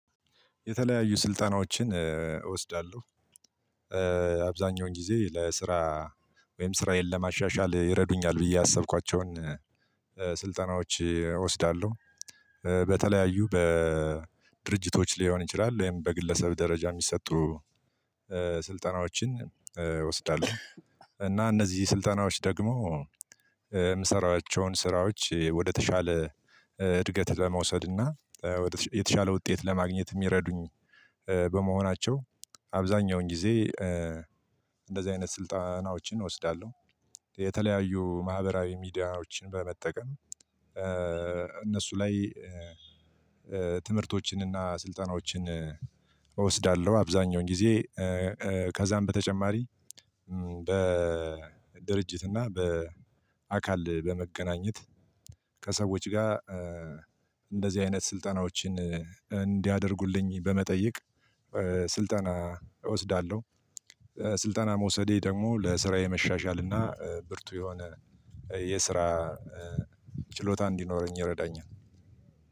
የተለያዩ ስልጠናዎችን እወስዳለሁ። አብዛኛውን ጊዜ ለስራ ወይም ስራዬን ለማሻሻል ይረዱኛል ብዬ ያሰብኳቸውን ስልጠናዎች እወስዳለሁ። በተለያዩ በድርጅቶች ሊሆን ይችላል ወይም በግለሰብ ደረጃ የሚሰጡ ስልጠናዎችን እወስዳለሁ፤ እና እነዚህ ስልጠናዎች ደግሞ የምሰራቸውን ስራዎች ወደተሻለ እድገት ለመውሰድና ወደተሻለ ውጤት ለማግኘት ሚረዱኝ በመሆናቸው አብዛኛውን ጊዜ እንደዚህ አይነት ስልጠናዎችን እወስዳለሁ። የተለያዩ ማህበራዊ ሚዲያዎችን በመጠቀም እነሱ ላይ ትምህርቶችንና ስልጠናዎችን እወስዳለሁ አብዛኛውን ጊዜ ከዛም በተጨማሪ በድርጅት እና በአካል በመገናኘት ከሰዎች ጋር እንደዚህ አይነት ስልጠናዎችን እንዲያደርጉልኝ በመጠየቅ ስልጠና እወስዳለሁ። ስልጠና መውሰዴ ደግሞ ለስራዬ መሻሻልና ብርቱ የሆነ የስራ ችሎታ እንዲኖረኝ ይረዳኛል።